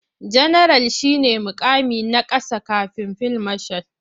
Janaral shi ne muƙami na ƙasa kafin fil mashal.